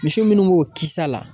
Misi minnu b'o kisɛ la.